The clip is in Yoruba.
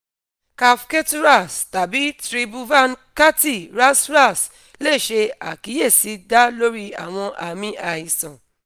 kaph ketu ras tabi tribhuvan kirti ras ras le ṣe akiyesi da lori awọn aami aisan